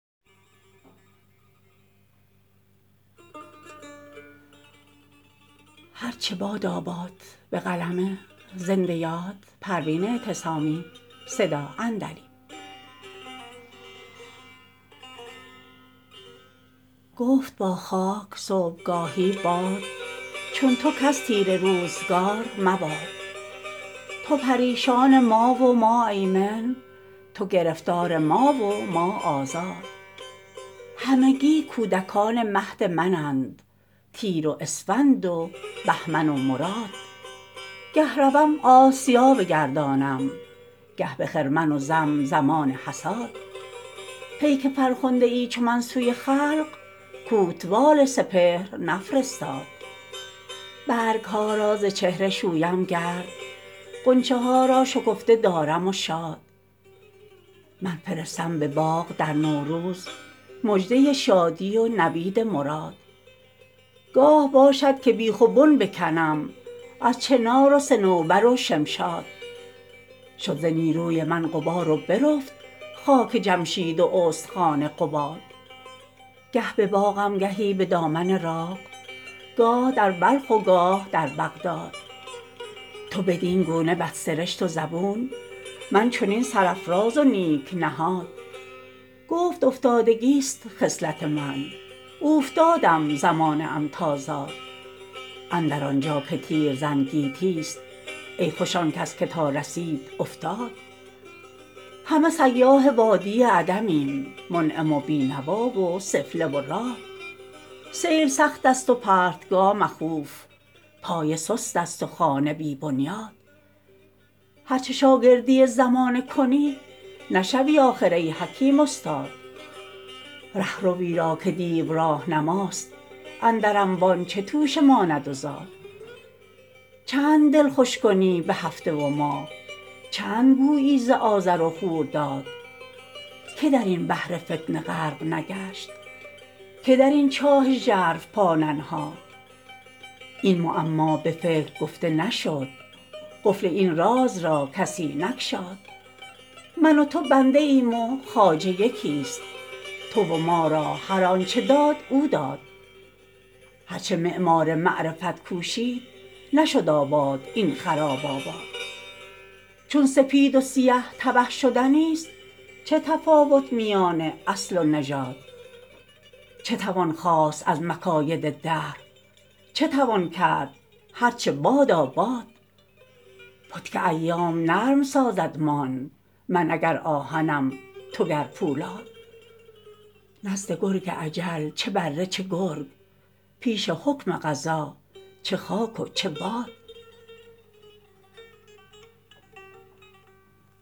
گفت با خاک صبحگاهی باد چون تو کس تیره روزگار مباد تو پریشان ما و ما ایمن تو گرفتار ما و ما آزاد همگی کودکان مهد منند تیر و اسفند و بهمن و مراد گه روم آسیا بگردانم گه بخرمن و زم زمان حصاد پیک فرخنده ای چو من سوی خلق کوتوال سپهر نفرستاد برگها را ز چهره شویم گرد غنچه ها را شکفته دارم و شاد من فرستم بباغ در نوروز مژده شادی و نوید مراد گاه باشد که بیخ و بن بکنم از چنار و صنوبر و شمشاد شد ز نیروی من غبار و برفت خاک جمشید و استخوان قباد گه بباغم گهی بدامن راغ گاه در بلخ و گاه در بغداد تو بدینگونه بد سرشت و زبون من چنین سرفراز و نیک نهاد گفت افتادگی است خصلت من اوفتادم زمانه ام تا زاد اندر آنجا که تیرزن گیتی است ای خوش آنکس که تا رسید افتاد همه سیاح وادی عدمیم منعم و بینوا و سفله و راد سیل سخت است و پرتگاه مخوف پایه سست است و خانه بی بنیاد هر چه شاگردی زمانه کنی نشوی آخر ای حکیم استاد رهروی را که دیو راهنماست اندر انبان چه توشه ماند و زاد چند دل خوش کنی به هفته و ماه چند گویی ز آذر و خورداد که درین بحر فتنه غرق نگشت که درین چاه ژرف پا ننهاد این معما بفکر گفته نشد قفل این راز را کسی نگشاد من و تو بنده ایم و خواجه یکی است تو و ما را هر آنچه داد او داد هر چه معمار معرفت کوشید نشد آباد این خراب آباد چون سپید و سیه تبه شدنی است چه تفاوت میان اصل و نژاد چه توان خواست از مکاید دهر چه توان کرد هر چه باداباد پتک ایام نرم سازدمان من اگر آهنم تو گر پولاد نزد گرگ اجل چه بره چه گرگ پیش حکم قضا چه خاک و چه باد